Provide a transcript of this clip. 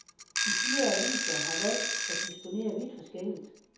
De fire aviser har valgt at disponere vidt forskelligt.